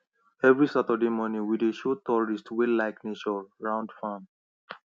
every saturday morning we dey show tourists wey like nature round farm